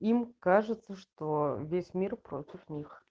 им кажется что весь мир против нас